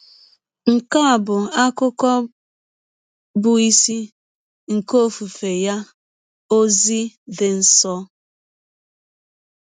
Nke a bụ akụkụ bụ́ isi nke ọfụfe ya, “ ọzi dị nsọ. ”